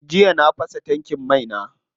Jiya na fasa min tankin mai na.